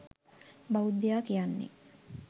බෞද්ධයා කියන්නේ